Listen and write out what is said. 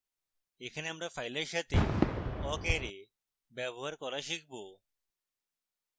এখানে আমরা ফাইলের সাথে awk array ব্যবহার করা শিখব